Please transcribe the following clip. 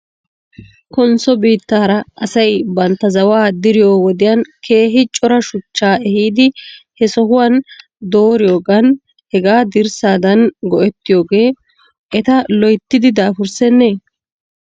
Konsso biittaara asay bantta zawaa diriyoo wodiyan keehi cora shuchchaa ehidi he sohuwan dooriyoogan hegaa dirssadan go'ettiyoogee eta loyttidi daafurssenee?